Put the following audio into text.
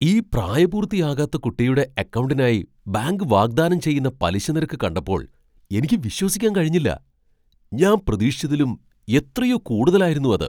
ഈ പ്രായപൂർത്തിയാകാത്ത കുട്ടിയുടെ അക്കൗണ്ടിനായി ബാങ്ക് വാഗ്ദാനം ചെയ്യുന്ന പലിശ നിരക്ക് കണ്ടപ്പോൾ എനിക്ക് വിശ്വസിക്കാൻ കഴിഞ്ഞില്ല! ഞാൻ പ്രതീക്ഷിച്ചതിലും എത്രയോ കൂടുതലായിരുന്നു അത്.